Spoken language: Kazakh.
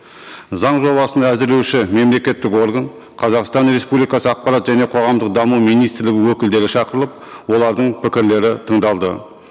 заң жобасын әзірлеуші мемлекеттік орган қазақстан республикасы ақпарат және қоғамдық даму министрлігі өкілдері шақырылып олардың пікірлері тыңдалды